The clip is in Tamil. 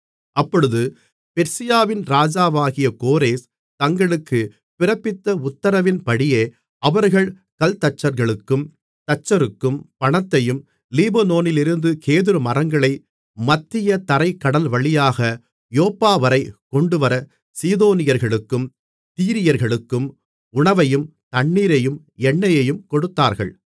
அப்பொழுது பெர்சியாவின் ராஜாவாகிய கோரேஸ் தங்களுக்குப் பிறப்பித்த உத்திரவின்படியே அவர்கள் கல்தச்சர்களுக்கும் தச்சருக்கும் பணத்தையும் லீபனோனிலிருந்து கேதுருமரங்களைக் மத்திய தரைக் கடல்வழியாக யோப்பாவரை கொண்டுவரச் சீதோனியர்களுக்கும் தீரியர்களுக்கும் உணவையும் தண்ணீரையும் எண்ணெயையும் கொடுத்தார்கள்